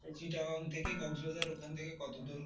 চিটাগাং থেকে কক্সবাজার ওখান থেকে কত দূর?